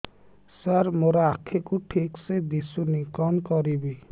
ସାର ମୋର ଆଖି କୁ ଠିକସେ ଦିଶୁନି କଣ କରିବି